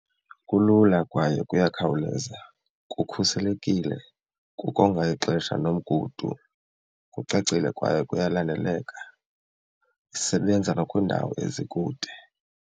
Kulula kwaye kuyakhawuleza, kukhuselekile, kukonga ixesha nomgudu, kucacile kwaye kuyalandeleka, isebenza nakwiindawo ezikude.